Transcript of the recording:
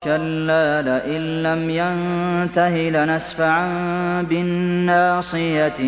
كَلَّا لَئِن لَّمْ يَنتَهِ لَنَسْفَعًا بِالنَّاصِيَةِ